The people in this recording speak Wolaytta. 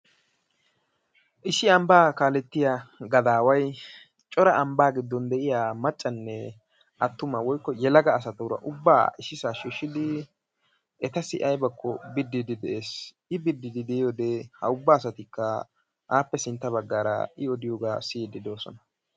Issi ambba kaalettiya gadaaway cora ambba giddon de'iya maaccanne attuma woykko yelaga asatuura ubba issisaa shiishshidi etassi aybakko biddiidi de'ees. I bididi de'iyode ha ubba asatikka appe sintta baggaara I odiyoba siyiiddi de'osona.